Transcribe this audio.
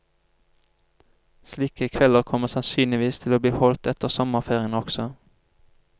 Slike kvelder kommer sansynligvis til å bli holdt etter sommerferien også.